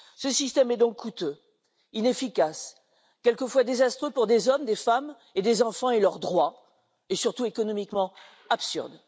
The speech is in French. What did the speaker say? Ce système est donc coûteux, inefficace, quelquefois désastreux pour des hommes, des femmes et des enfants et leurs droits, et surtout économiquement absurde.